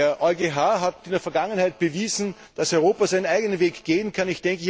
Der EuGH hat in der Vergangenheit bewiesen, dass Europa seinen eigenen Weg gehen kann.